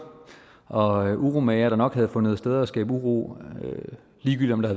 og uromagere der nok havde fundet steder at skabe uro ligegyldigt om der